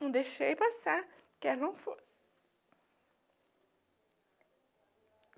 Não deixei passar, quer não fosse.